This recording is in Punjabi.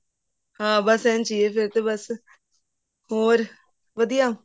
ਹਾਂ ਇੰਝ ਹੀ ਹੈ ਫ਼ੇਰ ਤਾਂ ਬਸ ਹੋਰ ਵਧੀਆ